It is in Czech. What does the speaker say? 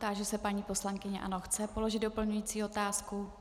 Táži se paní poslankyně - ano, chce položit doplňující otázku.